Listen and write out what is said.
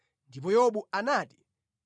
Ndipo Yobu anati: